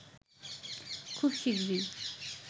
খুব শীঘ্রই